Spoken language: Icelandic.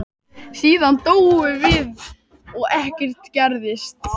Síðan dóum við og ekkert gerðist.